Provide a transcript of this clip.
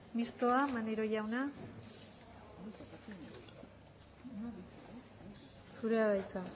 mistoa maneiro jauna zurea da hitza